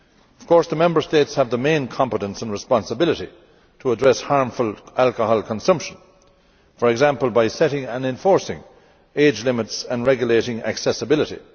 Of course, the Member States have the main competence and responsibility to address harmful alcohol consumption, for example by setting and enforcing age limits and regulating accessibility.